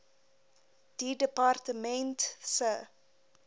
die departement se